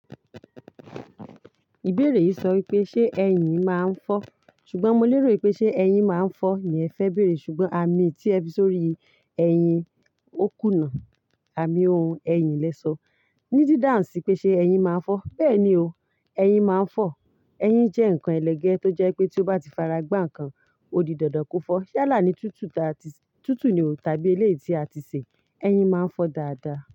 Ìbéèrè yìí sọ pé ṣe ẹyin máa ń fọ́? Ṣùgbọ́n mo lérò pé ṣe ẹyin máa ń fọ́ ni ẹ fẹ́ bèèrè. Ṣùgbọ́n àmì tí ẹ fi sórí ẹyin ó kùnà, àmì ohun ẹyin lẹ sọ. Ní dídáhun sí pé ṣe ẹyin máa ń fọ́. Bẹ́ẹ̀ ni o, ẹyin máa ń fọ́. Ẹyin jẹ́ nǹkan ẹlẹgẹ́ tó jẹ́ pé tí ó bá ti fara gbá nǹkan, ó di dandan kó fọ́. Yálà ní tútù ta tí, tútù ni tàbí ilé tí a ti sè, ẹyin máa ń fọ dáadáa.